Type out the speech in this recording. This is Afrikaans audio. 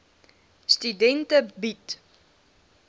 studente bied